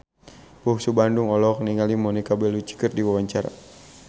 Bungsu Bandung olohok ningali Monica Belluci keur diwawancara